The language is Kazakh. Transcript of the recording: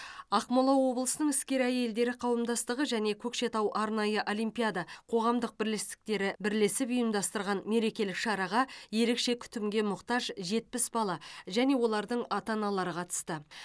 ақмола облысының іскер әйелдері қауымдастығы және көкшетау арнайы олимпиада қоғамдық бірлестіктері бірлесіп ұйымдастырған мерекелік шараға ерекше күтімге мұқтаж жетпіс бала мен олардың ата аналары қатысты